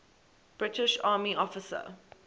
british army officer